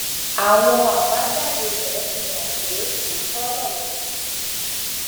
àwọn àbájáde rẹ fi hàn pé òótọ lọrọ yìí